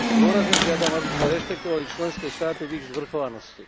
Dôrazne žiadam, aby sme rešpektovali členské štáty v ich zvrchovanosti.